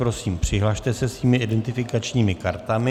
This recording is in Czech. Prosím, přihlaste se svými identifikačními kartami.